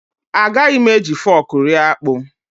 Agaghị m eji fọk rie akpụ.